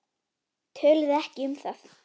Töluðu ekki um það.